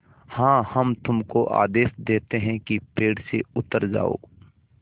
हाँ हम तुमको आदेश देते हैं कि पेड़ से उतर जाओ